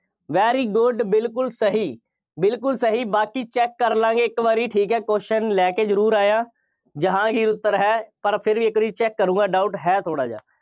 very good ਬਿਲਕੁੱਲ ਸਹੀ, ਬਿਲਕੁੱਲ ਸਹੀ, ਬਾਕੀ check ਕਰਲਾਂਗੇ ਇੱਕ ਵਾਰੀ ਠੀਕ ਹੈ, question ਲੈ ਕੇ ਜ਼ਰੂਰ ਆਇਆ। ਜਹਾਂਗੀਰ ਉੱਤਰ ਹੈ ਪਰ ਫਿਰ ਵੀ ਇੱਕ ਵਾਰੀ check ਕਰੂੰਗਾ doubt ਹੈ ਥੋੜ੍ਹਾ ਜਿਹਾ।